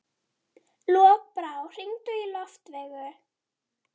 Lokbrá, hringdu í Loftveigu.